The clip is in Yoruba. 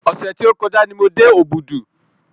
Ọ̀sẹ̀ tí ó kọjá ni mo dé Òbùdù.